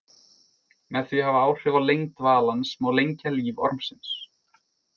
Með því að hafa áhrif á lengd dvalans má lengja líf ormsins.